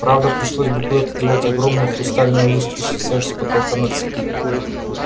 правда пришлось бы куда-то девать огромную хрустальную люстру свисающую с потолка на цепи